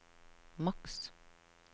maks